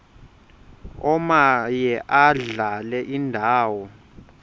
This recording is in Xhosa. omaye adlale indawo